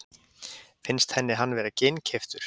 Finnst henni hann vera ginnkeyptur?